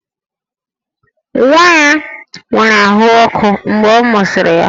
Nwa ya nwere ahụ ọkụ mgbe a mụsịrị ya